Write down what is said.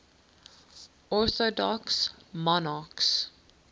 orthodox monarchs